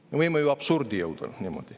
Me võime niimoodi ju absurdini jõuda.